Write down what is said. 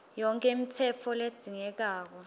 yonkhe imitsetfo ledzingekako